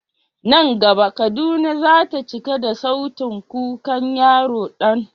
Nan gaba Kaduna za ta cika da sautin kukan yaro Dan.